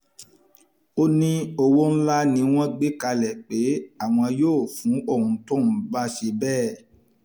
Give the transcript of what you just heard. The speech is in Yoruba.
ó ní owó ńlá ni wọ́n gbé kalẹ̀ pé àwọn yóò fún òun tóun bá ṣe bẹ́ẹ̀